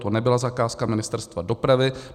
To nebyla zakázka Ministerstva dopravy.